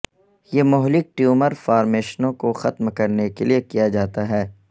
یہ مہلک ٹیومر فارمیشنوں کو ختم کرنے کے لئے کیا جاتا ہے